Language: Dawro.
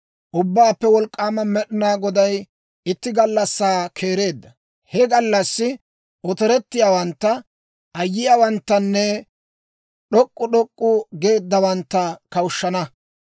Ubbaappe Wolk'k'aama Med'inaa Goday itti gallassaa keereedda. He gallassi otorettiyaawantta, ayyiyaawanttanne d'ok'k'u d'ok'k'u geeddawaantta kawushshana;